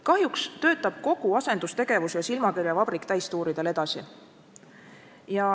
Kahjuks töötab kogu asendustegevus ja silmakirjavabrik täistuuridel edasi.